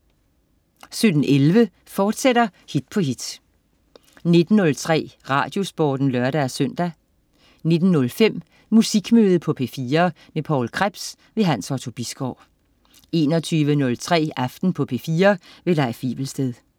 17.11 Hit på hit, fortsat 19.03 Radiosporten (lør-søn) 19.05 Musikmøde på P4. Poul Krebs. Hans Otto Bisgaard 21.03 Aften på P4. Leif Wivelsted